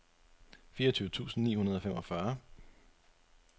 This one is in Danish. fireogtyve tusind ni hundrede og femogfyrre